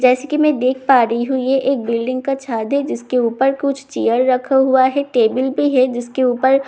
जैसे की मैं देख पा रही हूं ये एक बिल्डिंग का छाद है जिसके ऊपर कुछ चेयर रखा हुआ है टेबल भी है जिसके ऊपर--